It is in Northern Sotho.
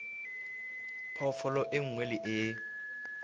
phoofolo e nngwe le e